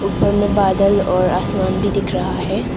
ऊपर में बादल और आसमान भी दिख रहा है।